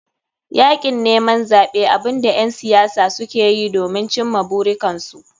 Yakin neman zaɓe abunda ƴan siyasa sukeyi ne domin cimma burikansu.